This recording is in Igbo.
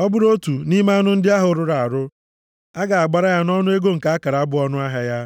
Ọ bụrụ otu nʼime anụ ndị ahụ rụrụ arụ, a ga-agbara ya nʼọnụ ego nke akara bụ ọṅụ ahịa ya,